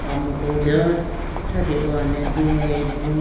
amuku do thrate hone deyayi bo.